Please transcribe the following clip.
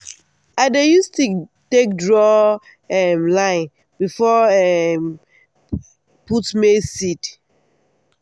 i dey use stick take draw um line before i um put maize seed.